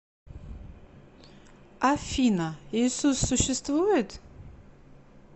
афина иисус существует